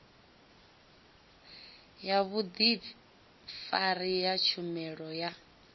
ya vhudifari ya tshumelo ya